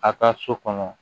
A ka so kɔnɔ